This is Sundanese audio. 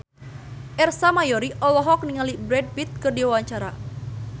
Ersa Mayori olohok ningali Brad Pitt keur diwawancara